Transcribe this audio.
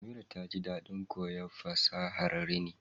Amira taji dadin koyon fasahar rini